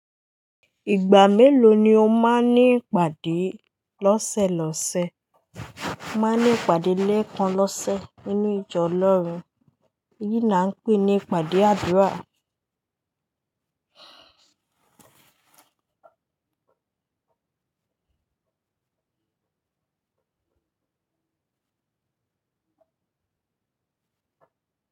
Ìgbà mélòó ni o máa ń ní ìpàdé lọ́sẹ̀lọ́sẹ̀? M á ní ìpàdé lẹ́ẹ̀kan lọ́sẹ̀ nínú ìjọ Ọlọ́run. Eyí ni a ń pè ní ìpàdé àdúrà.